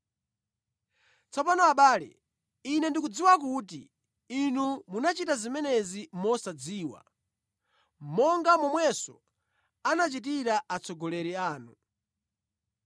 “Tsopano abale ine ndikudziwa kuti inu munachita zimenezi mosadziwa, monga momwenso anachitira atsogoleri anu.